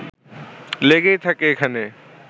লেগেই থাকে এখানে